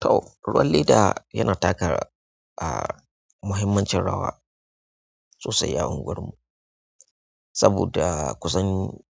Toh, ruwan leda yana taka ah muhimmancin rawa sosai a anguwarmu saboda kusan